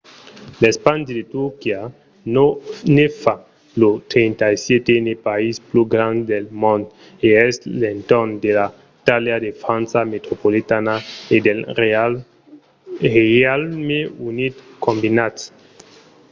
l’espandi de turquia ne fa lo 37n país pus grand del mond e es a l'entorn de la talha de la frança metropolitana e del reialme unit combinats